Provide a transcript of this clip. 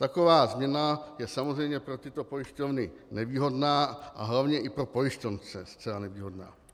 Taková změna je samozřejmě pro tyto pojišťovny nevýhodná a hlavně i pro pojištěnce zcela nevýhodná.